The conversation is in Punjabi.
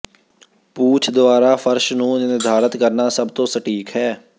ਪੂਛ ਦੁਆਰਾ ਫਰਸ਼ ਨੂੰ ਨਿਰਧਾਰਤ ਕਰਨਾ ਸਭ ਤੋਂ ਸਟੀਕ ਹੈ